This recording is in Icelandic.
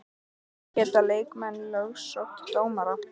Geta leikmenn lögsótt dómara?